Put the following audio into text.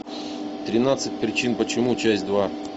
тринадцать причин почему часть два